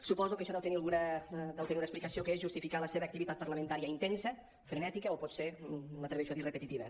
suposo que això deu tenir alguna explicació que és justificar la seva activitat parlamentària intensa frenètica o potser m’atreveixo a dir repetitiva